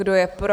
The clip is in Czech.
Kdo je pro?